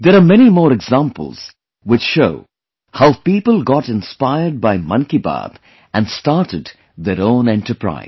There are many more examples, which show how people got inspired by 'Mann Ki Baat' and started their own enterprise